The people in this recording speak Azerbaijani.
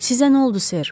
Sizə nə oldu Ser?